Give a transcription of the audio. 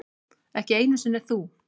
Ekki einu sinni þú.